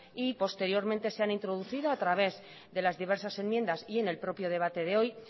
y posteriormente se han introducido a través de las diversas enmiendas y en el propio debate de hoy